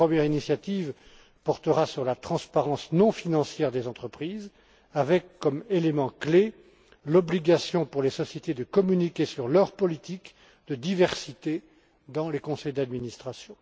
Une première initiative portera sur la transparence non financière des entreprises, avec comme élément clé l'obligation pour les sociétés de communiquer sur leur politique de diversité dans les conseils d'administration.